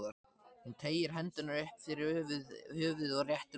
Hún teygir hendurnar upp fyrir höfuðið og réttir úr sér.